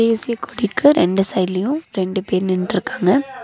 தேசியக்கொடிக்கு ரெண்டு சைட்லியு ரெண்டு பேர் நின்னுட்ருக்காங்க.